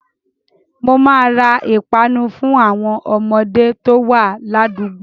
Mo máa ra ìpanu fún àwọn ọmọdé to wá ládùúgbò